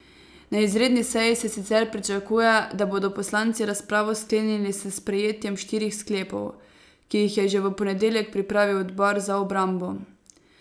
Na izredni seji se sicer pričakuje, da bodo poslanci razpravo sklenili s sprejetjem štirih sklepov, ki jih je že v ponedeljek pripravil odbor za obrambo.